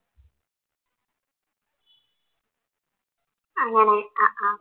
അങ്ങനെ അഹ് അഹ്